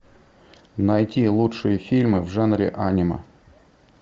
найти лучшие фильмы в жанре аниме